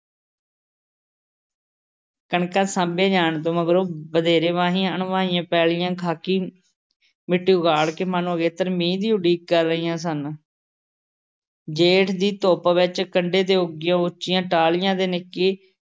ਕਣਕਾਂ ਸਾਂਭੀਆਂ ਜਾਣ ਤੋਂ ਮਗਰੋਂ ਵਧੇਰੇ ਵਾਹੀਆਂ-ਅਣਵਾਹੀਆਂ ਪੈਲ਼ੀਆਂ ਖ਼ਾਕੀ ਮਿੱਟੀ ਉਘਾੜ ਕੇ ਮਾਨੋ ਅਗੇਤਰੇ ਮੀਂਹ ਦੀ ਉਡੀਕ ਕਰ ਰਹੀਆਂ ਸਨ। ਜੇਠ ਦੀ ਧੁੱਪ ਵਿੱਚ ਕੰਢੇ ਤੇ ਉੱਗੀਆਂ ਉੱਚੀਆਂ ਟਾਹਲੀਆਂ ਦੇ ਨਿੱਕੀ